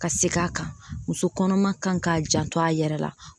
Ka segin a kan muso kɔnɔma kan k'a janto a yɛrɛ la